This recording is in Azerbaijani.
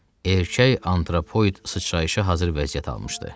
Erkək antropoid sıçrayışa hazır vəziyyət almışdı.